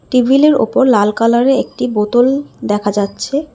Table -এর ওপর লাল কালার -এ একটি বোতল দেখা যাচ্ছে।